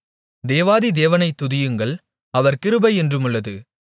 தேவாதி தேவனைத் துதியுங்கள் அவர் கிருபை என்றுமுள்ளது